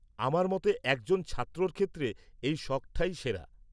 -আমার মতে একজন ছাত্রর ক্ষেত্রে এই শখটাই সেরা।